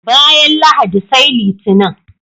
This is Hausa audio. Bayan Lahadi sai Litinin.